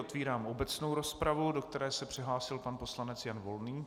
Otvírám obecnou rozpravu, do které se přihlásil pan poslanec Jan Volný.